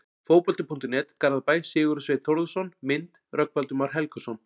Fótbolti.net, Garðabæ- Sigurður Sveinn Þórðarson Mynd: Rögnvaldur Már Helgason